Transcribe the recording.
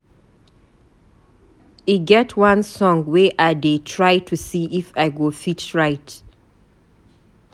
E get one song wey I dey try to see if I go fit write.